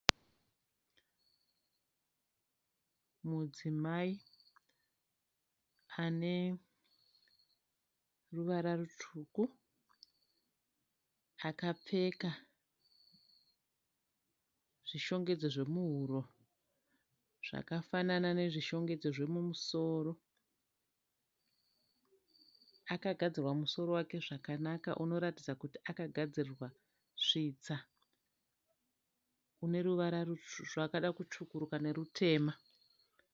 Mudzimai ane ruvara rutsvuku akapfeka zvishongedzo zvemuhuro zvakafanana nezvishongedzo zvemumusoro. Akagadzirwa musoro zvakanaka zvinoratidza kuti akagadzirirwa svitsa.